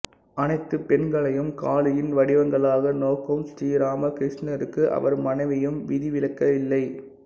அனைத்துப் பெண்களையும் காளியின் வடிவங்களாக நோக்கும் ஸ்ரீராமகிருஷ்ணருக்கு அவர் மனைவியும் விதிவிலக்கில்லை